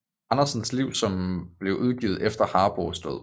Andersens liv som blev udgivet efter Harboes død